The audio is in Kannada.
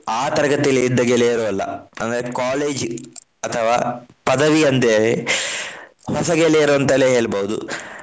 ಆ ತರಗತಿಯಲ್ಲಿ ಇದ್ದ ಗೆಳೆಯರು ಅಲ್ಲ. ಅಂದರೆ college ಅಥವಾ ಪದವಿಯೊಂದೆ ಹೊಸ ಗೆಳೆಯರೇ ಅಂತಲೇ ಹೇಳ್ಬಹುದು.